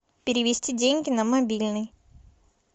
перевести деньги на мобильный